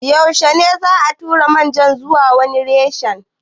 Yaushe ne za'a tura manaja zuwa wani reshe?